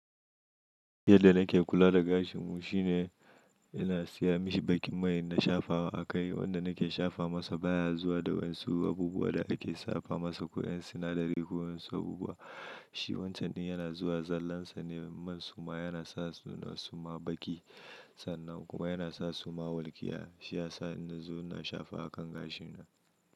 Yadda nake kula da gashin mu shine ina siya mashi bakin mai na shafa a kai. Wanda nake shafa masa baya zuwa da wasu abubuwa da ake shafa masa ko yan sinadari ko wasu abubuwa. Shi wancan din yana zuwa zallan sa ne man suma yana sa suna suma bakin sannan kuma yana sa suma walƙiya. Shi ya sa ni zu na shafa a kan gashin na.